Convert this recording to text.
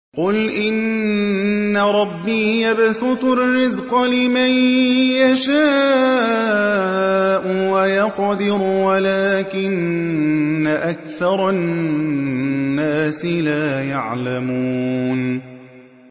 قُلْ إِنَّ رَبِّي يَبْسُطُ الرِّزْقَ لِمَن يَشَاءُ وَيَقْدِرُ وَلَٰكِنَّ أَكْثَرَ النَّاسِ لَا يَعْلَمُونَ